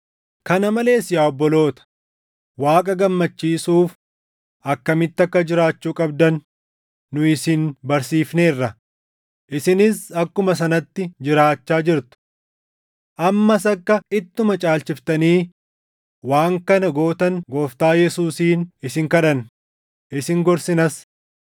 Kana malees yaa obboloota, Waaqa gammachiisuuf akkamitti akka jiraachuu qabdan nu isin barsiifneerra; isinis akkuma sanatti jiraachaa jirtu. Ammas akka ittuma caalchiftanii waan kana gootan Gooftaa Yesuusiin isin kadhanna; isin gorsinas.